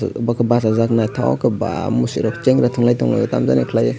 bw ke basajak nythok ke baa mwsui rok chengra tunglai tonglaio tamo jani khalaioi.